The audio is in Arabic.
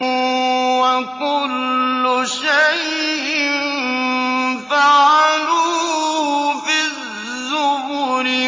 وَكُلُّ شَيْءٍ فَعَلُوهُ فِي الزُّبُرِ